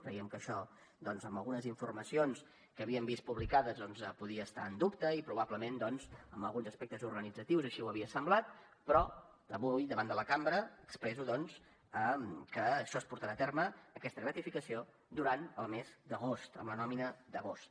creiem que això doncs en algunes informacions que havíem vist publicades podia estar en dubte i probablement en alguns aspectes organitzatius així ho havia semblat però avui davant de la cambra expresso doncs que això es portarà a terme aquesta gratificació durant el mes d’agost amb la nòmina d’agost